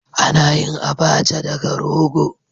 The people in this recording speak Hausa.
Ana yin "Abacha" daga rogo.